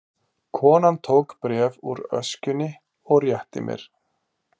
Konan tók bréf úr öskjunni og rétti mér.